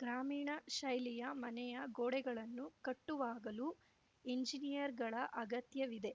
ಗ್ರಾಮೀಣ ಶೈಲಿಯ ಮನೆಯ ಗೋಡೆಗಳನ್ನು ಕಟ್ಟುವಾಗಲೂ ಎಂಜಿನಿಯರ್‌ಗಳ ಅಗತ್ಯವಿದೆ